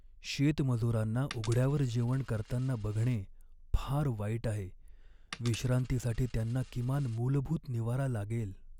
शेतमजुरांना उघड्यावर जेवण करताना बघणे फार वाईट आहे. विश्रांतीसाठी त्यांना किमान मूलभूत निवारा लागेल.